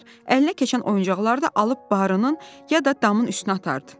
Əlinə keçən oyuncaqları da alıb baırının ya da damın üstünə atardı.